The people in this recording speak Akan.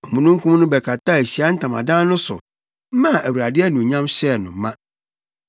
Omununkum no bɛkataa Ahyiae Ntamadan no so maa Awurade anuonyam hyɛɛ no ma.